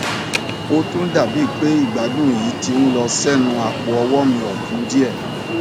ó tún dá bi pe igbadun yii ti n lọ sẹnu apoọwọ mi ọtun díẹ